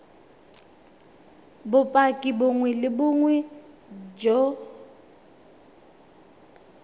bopaki bongwe le bongwe jo